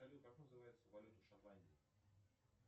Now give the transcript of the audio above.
салют как называется валюта в шотландии